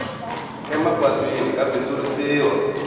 emapatwini ka bindzurisiwa